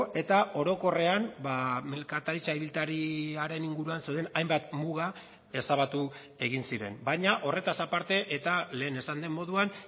eta orokorrean merkataritza ibiltariaren inguruan zeuden hainbat muga ezabatu egin ziren baina horretaz aparte eta lehen esan den moduan